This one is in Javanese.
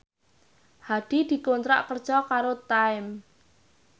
Hadi dikontrak kerja karo Time